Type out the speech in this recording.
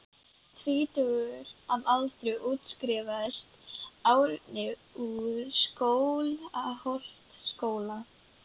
Tvítugur að aldri útskrifaðist Árni úr Skálholtsskóla.